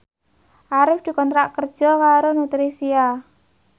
Arif dikontrak kerja karo Nutricia